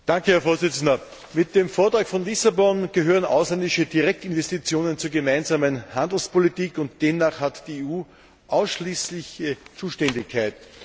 Herr Präsident! Mit dem Vertrag von Lissabon gehören ausländische Direktinvestitionen zur gemeinsamen Handelspolitik, und demnach hat die EU ausschließliche Zuständigkeit.